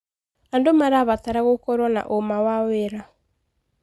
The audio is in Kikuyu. Andũ marabatara gũkorwo na ũma wa wĩra.